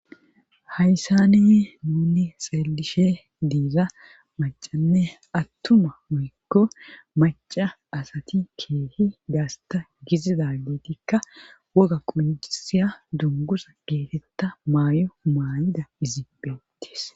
Hayssani nuni xeelishe diiza macanne attuma woykko maca asati keehi gaasta gizidagetikka woga quncisiya dungusa geetetta maayo maayida izibphetis